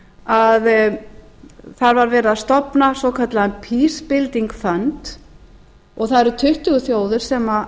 að það var verið að stofna svokallaðan peace building fund það eru tuttugu þjóðir sem